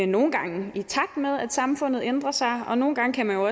nogle gange i takt med at samfundet ændrer sig og nogle gange kan man jo